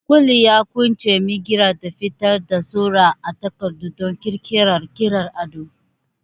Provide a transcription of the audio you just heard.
Ƙwuilin ya ƙunshi mirgina da fitar da sura a takarda don ƙirƙirar ƙirar ado.